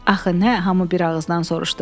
Axı nə, hamı bir ağızdan soruşdu.